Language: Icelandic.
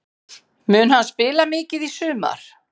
Mun hann spila mikið í sumar?